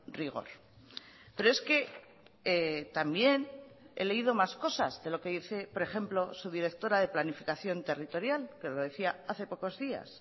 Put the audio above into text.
rigor pero es que también he leído más cosas de lo que dice por ejemplo su directora de planificación territorial que lo decía hace pocos días